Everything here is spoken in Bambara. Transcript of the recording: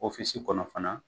kɔnɔ fana